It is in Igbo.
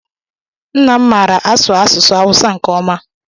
Nna m maara asụ asụsụ awusa nke ọma.